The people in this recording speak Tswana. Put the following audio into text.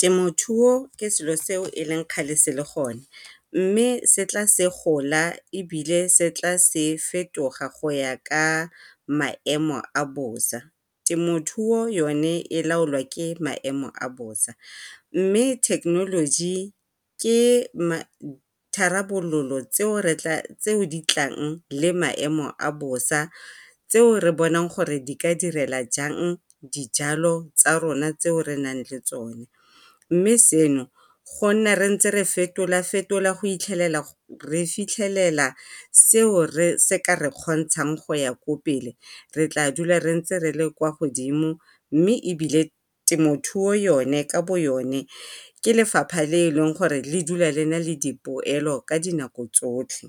Temothuo ke selo seo e leng kgale se le gone mme se tla se gola mme se tla se fetoga go ya ka maemo a bosa. Temothuo yone e laolwa ke maemo a bosa, mme thekenoloji ke tharabololo tseo di tlang le maemo a bosa tseo re bonang gore di ka direla jang dijalo tsa rona tseo re na leng tsone. Mme seno go nna re fetola-fetola go 'itlhelela re fitlhelela seo se ka re kgontshang kwa pele re tla nna ntse re le ko godimo mme ebile temothuo yone ka bo yone ke lefapha le le dulang le nale dipoelo ka dinako tsotlhe.